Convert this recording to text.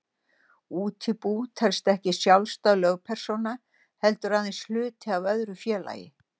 Útibú telst ekki sjálfstæð lögpersóna heldur aðeins hluti af öðru félagi.